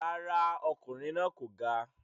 Rárá, ọkùnrin náà kò ga.